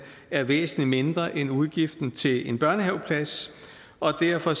er væsentlig mindre end udgiften til en børnehaveplads og derfor